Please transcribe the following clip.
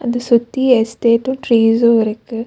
இது சுத்தி எஸ்டேட் ட்ரீஸ்சும் இருக்கு.